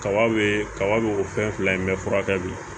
Kaba be kaba be ko fɛn fila in bɛɛ furakɛ bi